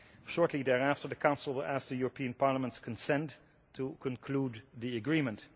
Shortly thereafter the Council will ask the European Parliament's consent to conclude the agreement.